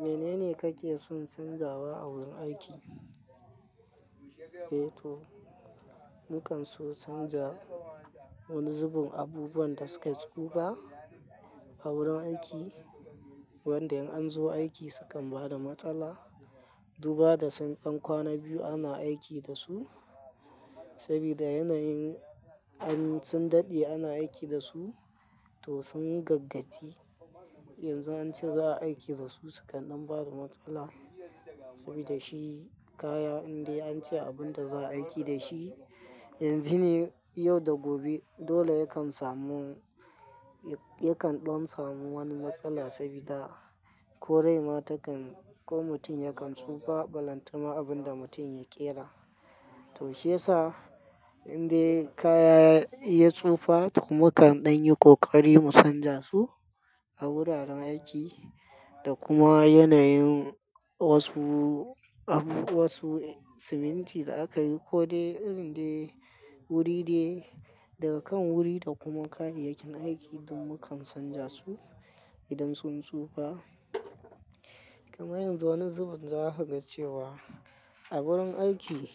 Menene kake son canzawa a wurin aiki? Eh to, mukan so canza wani zubin abubuwan da suka tsufa a wurin aiki, wanda in an zo aiki sukan bada matsala. Duba da sun ɗan kwana biyu ana aiki da su, sabida yanayin an sun daɗe ana aiki da su, to sun gaggaci. Yanzu an ce za'a aiki da su, su kan ɗan bada matsala sabida shi kaya indai an ce abun da za a aiki da shi yanzu ne, yau da gobe. Dole yakan samu, ya kan ɗon samu wani matsala sabida ko rai ma ta kan ko mutum yakan tsufa. Balantama abin da mutum ya ƙera to shiyasa indai kaya ya tsufa to mukan ɗan yi kokari mu canza su a wuraren aiki da kuma yanayin wasu abu, wasu siminti da aka yi ko dai irin dai wuri dai daga kan wuri da kuma kayayyakin aiki duk mukan canza su idan sun tsufa. Kuma yanzu wani zubin za a hagas cewa a wurin aiki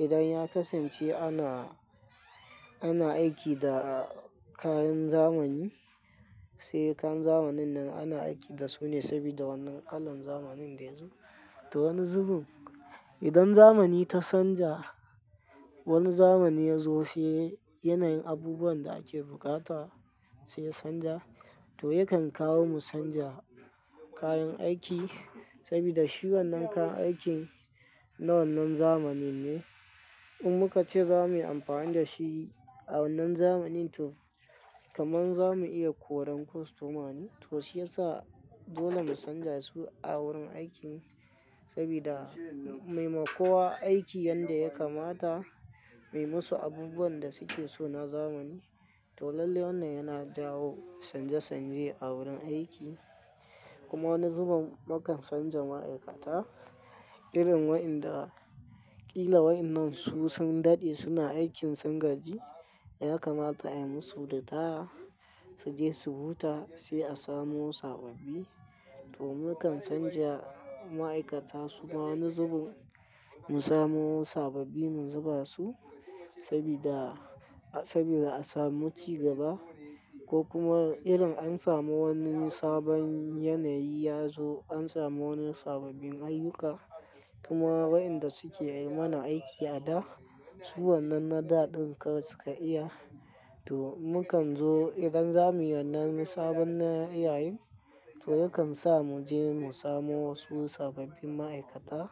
idan ya kasance ana, ana aiki da kayan zamani, sai kayan zamanin nan ana aiki da su ne sabida wannan kalan zamanin da yazo. To wani zubin idan zamani ta canja wani zamani ya zo sai yanayin abubuwan da ake bukata sai ya canja to yakan kawo mu canja kayan aiki sabida shi wannan kayan aikin na wannan zamanin ne. In muka ce za mu yi amfani da shi a wannan zamanin to kaman za mu iya koran kostoma ne, to shiyasa dole mu canja su a wurin aikin sabida mi ma kowa aiki yanda ya kamata, mai masu abubuwan da suke so na zamani. To lallai wannan yana jawo canje canje a wurin aiki. Kuma wani zubin mukan canja ma'aikata irin waɗanda ƙila waɗannan su sun daɗe suna aikin sun gaji ya kamata ai musu da ritaya su je su huta sai a samo wasu sababbi. To mukan canja ma'aikata su kuma wani zubin mu samo wasu sababbi mu zuba su sabida, sabida a samu cigaba ko kuma irin an samu wani sabon yanayi ya zo an samu wani sababbin ayyuka. Kuma waɗanda suke yi mana aiki a da, su wannan na da ɗin kawai suka iya to mukan zo idan za mu yi wannan sabon na ayyuka, to yakan sa mu je mu samo wasu sababbin ma'aikata,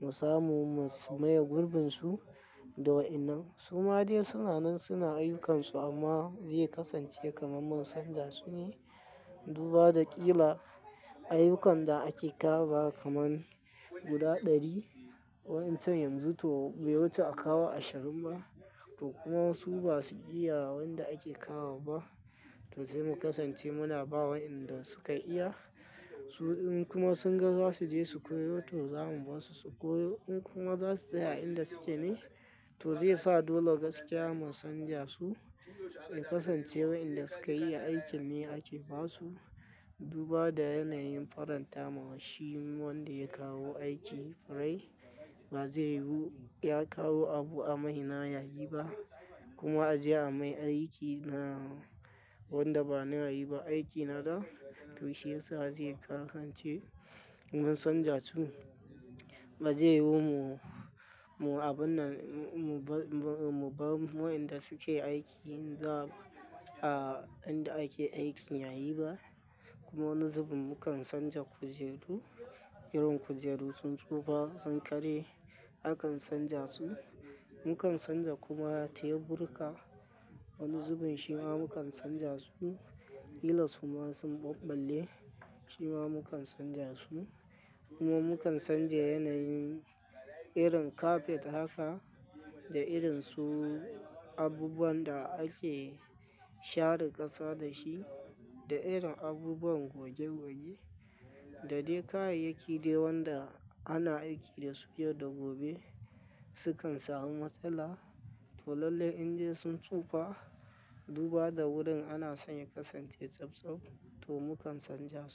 mu samu mu maye gurbin su da waɗannan. Su ma dai suna nan suna ayyukansu amma zai kasance kaman mun canja su ne. Duba da ƙila ayyukan da ake kawo ba kaman guda ɗari wa'incen yanzu to bai wuce a kawo ashirin ba to kuma wasu ba su iya waɗanda ake kawo ba to sai mu kasance muna ba wa inda su ka iya su in kuma sun ga za su je su koyo to za mu ba su su koyo. In kuma za su tsaya a inda suke ne to zai sa dole gaskiya mun canja su, ya kasance waɗanda su ka iya aikin ne ake ba su. Duba da yanayin farantawa shi wanda ya kawo aiki rai ba zai yiyu ya kawo abu a mai na yayi ba kuma a je a mai aiki na wanda ba na yayi ba aiki na da to shiyasa zai kasance mun canja su ba zai yiwu mu, mu abun nan mubar, mubar waɗanda suke aiki za a inda ake aikin yayi ba. Kuma wani zubin mukan canja kujeru irin kujeru sun tsufa sun ƙare akan canja su. Mukan canja kuma teburka wani zubin shi ma mukan canja su ƙila su ma sun ɓabbale shi ma mukan canja su. Kuma mukan canja yanayin irin kafet haka da irin su abubuwan da ake share ƙasa da shi da irin abubuwan goge goge da dai kayayyaki dai waɗanda ana aiki da su yau da gobe sukan samu matsala. To lallai indai sun tsufa duba da wurin ana sanya kasance tsaftsaf to mukan canja.